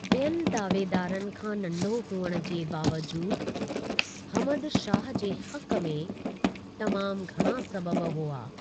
ॿियनि दावेदारनि खां नंढो हुअण जे बावजूदु, हमद शाह जे हक़ में तमामु घणा सबबि हुआ।